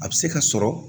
A bɛ se ka sɔrɔ